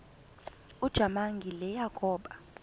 ujamangi le yakoba